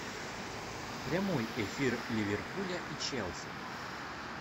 прямой эфир ливерпуля и челси